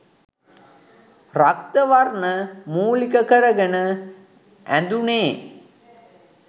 රක්ත වර්ණය මූලික කරගෙන ඇඳුනේ